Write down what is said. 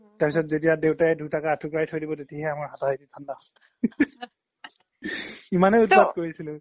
তাৰ পিছত যেতিয়া দেউতাই দুটাকে আথো কৰাই থই দিব তেতিয়া হে আমাৰ হাতা হাতি থানদা হয় ইমানে উত্পাত কৰিছিলো